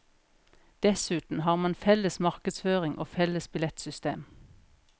Dessuten har man felles markedsføring og felles billettsystem.